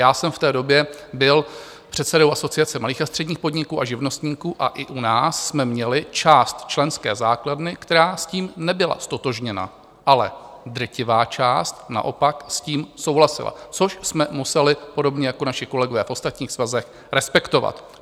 Já jsem v té době byl předsedou Asociace malých a středních podniků a živnostníků a i u nás jsme měli část členské základny, která s tím nebyla ztotožněna, ale drtivá část naopak s tím souhlasila, což jsme museli podobně jako naši kolegové v ostatních svazech respektovat.